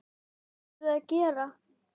Hvað áttum við að gera?